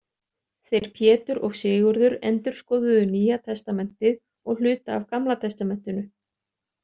Þeir Pétur og Sigurður endurskoðuðu Nýja testamentið og hluta af Gamla testamentinu.